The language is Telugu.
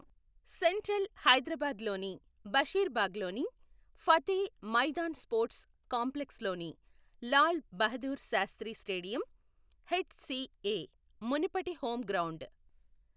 సెంట్రల్ హైదరాబాద్లోని బషీర్బాగ్లోని ఫతే మైదాన్ స్పోర్ట్స్ కాంప్లెక్స్లోని లాల్ బహదూర్ శాస్త్రి స్టేడియం హెచ్సిఏ మునుపటి హోమ్ గ్రౌండ్.